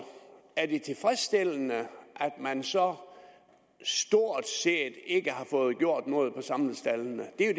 er det tilfredsstillende at man så stort set ikke har fået gjort noget hvad angår samlestaldene det er